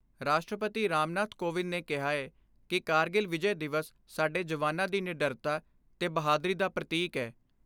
ਰਾਸ਼ਟਰਪਤੀ ਰਾਮਨਾਥ ਕੋਵਿੰਦ ਨੇ ਕਿਹਾ ਏ ਕਿ ਕਾਰਗਿਲ ਵਿਜੈ ਦਿਵਸ ਸਾਡੇ ਜਵਾਨਾਂ ਦੀ ਨਿਡਰਤਾ ਤੇ ਬਹਾਦਰੀ ਦਾ ਪ੍ਰਤੀਕ ਏ।